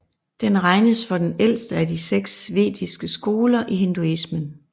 Den regnes for den ældste af de seks vediske skoler i hinduismen